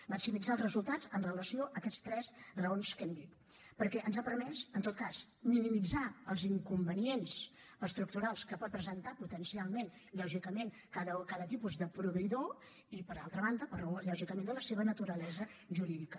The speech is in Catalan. maximitzar els resultats amb relació a aquestes tres raons que hem dit perquè ens ha permès en tot cas minimitzar els inconvenients estructurals que pot presentar potencialment cada tipus de proveïdor i per altra banda per raó lògicament de la seva naturalesa jurídica